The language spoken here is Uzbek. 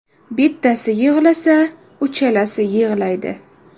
Bittasi yig‘lasa, uchalasi yig‘laydi.